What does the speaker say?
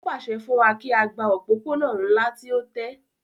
Ó pàṣẹ fún wa kí á gba òpópónà ńlá tí ó tẹ́